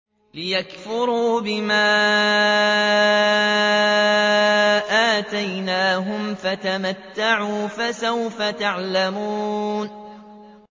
لِيَكْفُرُوا بِمَا آتَيْنَاهُمْ ۚ فَتَمَتَّعُوا فَسَوْفَ تَعْلَمُونَ